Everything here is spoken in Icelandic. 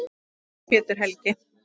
Þinn, Pétur Helgi.